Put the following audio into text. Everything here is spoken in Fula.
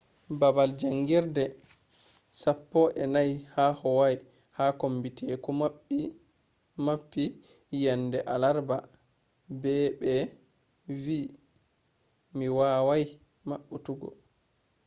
baabal jaangirde sappo’enai ha hawaii ha kombi teku mappi yende alarba be ɓe wi'i mi wawai mapputuggo